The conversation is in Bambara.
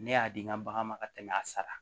Ne y'a di n ka bagan ma ka tɛmɛ a sara